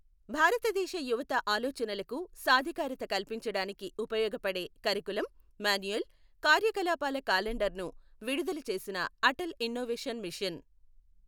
భారతదేశ యువత ఆలోచనలకు సాధికారత కల్పించడానికి ఉపయోగపడే కరికులమ్, మాన్యువల్, కార్యకలాపాల కాలండర్ను విడుదల చేసిన అటల్ ఇన్నొవేషన్ మిషన్.